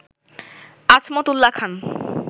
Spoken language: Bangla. আজমত উল্লা খান